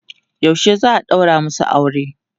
yaushe za'a ɗaura masu aure?